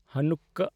ᱦᱟᱱᱩᱠᱟᱦ